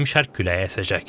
Mülayim şərq küləyi əsəcək.